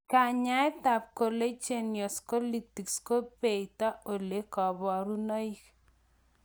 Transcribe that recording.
Kanyaet ab collagenous Colitis ko beote ole u kabarunoik.